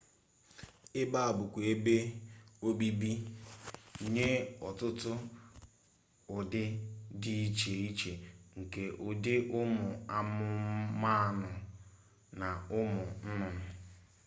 ebe a bụkwa ebe obibi nye ọtụtụ ụdị dị iche iche nke ụdị ụmụ anụmanụ na ụmụ nnụnnụ